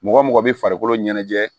Mɔgɔ mɔgɔ bɛ farikolo ɲɛnajɛ